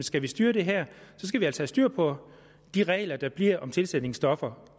skal styre det her skal vi altså i styr på de regler der bliver om tilsætningsstoffer